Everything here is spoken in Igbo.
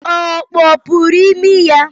Ọ kpọpuru imi ya?